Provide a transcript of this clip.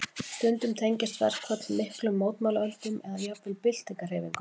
Stundum tengjast verkföll miklum mótmælaöldum eða jafnvel byltingarhreyfingum.